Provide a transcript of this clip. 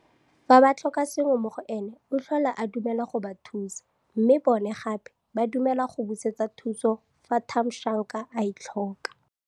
Fa ba tlhoka sengwe mo go ene, o tlhola a dumela go ba thusa mme bona gape ba dumela go busetsa thuso fa Thamsanqa a e tlhoka.